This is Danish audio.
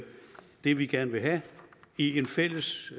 det er det man gerne vil have i en fælles